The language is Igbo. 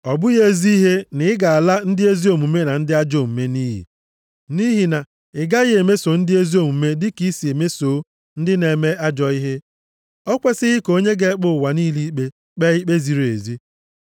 Ọ bụghị ezi ihe na ị ga-ala ndị ezi omume na ndị ajọ omume nʼiyi. Nʼihi na ị gaghị emeso ndị ezi omume dịka i si mesoo ndị na-eme ajọ ihe. O kwesighị ka onye ga-ekpe ụwa niile ikpe, kpee ikpe ziri ezi?”